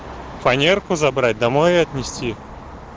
фанерку забрать домой её отнести